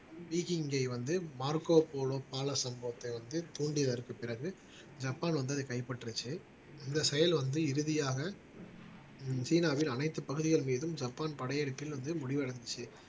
பீஜீங்ஜெய் வந்து மார்கோ போலும் பால சம்பவத்தை வந்து தூண்டியதற்கு பிறகு ஜப்பான் வந்து அதை கைப்பற்றுச்சு இந்த செயல் வந்து இறுதியாக சீனாவில் அனைத்து பகுதிகள் மீதும் ஜப்பான் படையெடுப்பில் வந்து முடிவடைஞ்சுச்சு